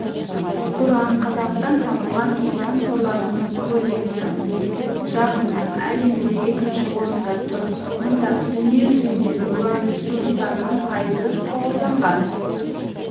уран қазақстан табылған уран қорларының көлемі жағынан әлемде екінші орында тұр мұнда дүниежүзіндегі уран ресурстарының пайызы шоғырланған